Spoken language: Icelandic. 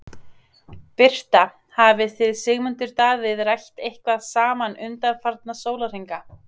Birta: Hafið þið Sigmundur Davíð rætt eitthvað saman undanfarna sólarhringa?